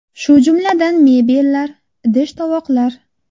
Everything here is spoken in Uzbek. Shu jumladan mebellar, idish-tovoqlar.